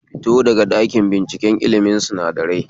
Fito daga ɗakin binciken ilmin sinadarai